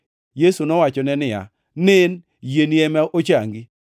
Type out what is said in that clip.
Yesu nowachone niya, “Nen! Yieni ema ochangi.”